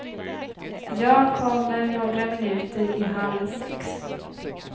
Jag kommer några minuter i halv sex.